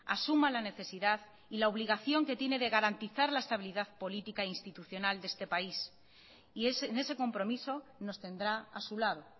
asuma la necesidad y la obligación que tiene de garantizar la estabilidad política e institucional de este país y en ese compromiso nos tendrá a su lado